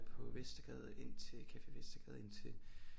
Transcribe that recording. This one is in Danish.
På Vestergade indtil Café Vestergade indtil